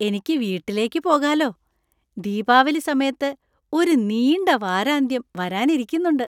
എനിക്ക് വീട്ടിലേക്ക് പോകാലോ. ദീപാവലി സമയത്ത് ഒരു നീണ്ട വാരാന്ത്യം വരാനിരിക്കുന്നുണ്ട്.